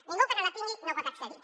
ningú que no la tingui no hi pot accedir